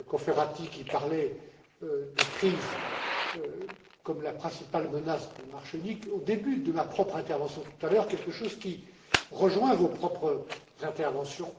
Cofferati, qui parlait de la crise comme la principale menace du marché unique au début de ma propre intervention tout à l'heure, quelque chose qui rejoint vos propres interventions.